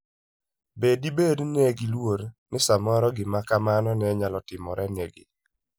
Be dibed ni ne giluor ni samoro gima kamano ne nyalo timorenegi?